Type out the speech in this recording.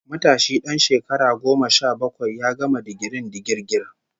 Matashi dan shekara goma sha bakwai ya gama digirin digirgir